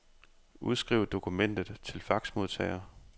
Udskriv dokumentet til faxmodtager.